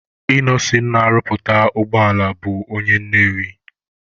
Ịnọsin na-arụpụta ụgbọala bụ onye Nnewi.